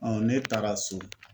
ne taara so